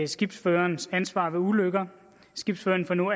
skibsførerens ansvar ved ulykker skibsføreren får nu